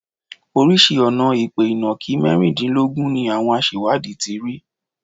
Oríṣìí ọ̀nà-ìpè ìnàkí mẹ́rìndínlógún ni àwọn aṣẹ̀wádìí ti rí.